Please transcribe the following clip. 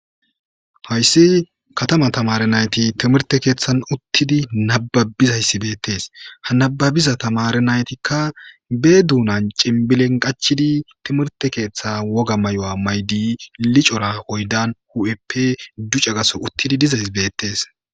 Haysi kataman tamare nayti timirte kethan uttidi nabababizaysi betese ha nababiza tamare naytikka be dunan cinbilen qachidi timirte ketha woga mayuwa mayidi licora oydan hu'eppe duca gaso utidi dizaysa betese